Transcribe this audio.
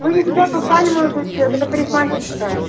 вы не туда попали молодой человек это парикмахерская